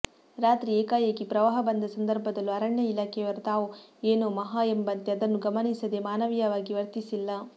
ರಾತ್ರಿ ಏಕಾಏಕಿ ಪ್ರವಾಹ ಬಂದ ಸಂದರ್ಭದಲ್ಲೂ ಅರಣ್ಯ ಇಲಾಖೆಯವರು ತಾವು ಏನೋ ಮಹಾ ಎಂಬಂತೆ ಅದನ್ನು ಗಮನಿಸಿದೇ ಮಾನವೀಯವಾಗಿ ವರ್ತಿಸಿಲ್ಲ